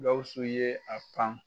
Gawusu ye a pan